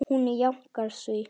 Hún jánkar því.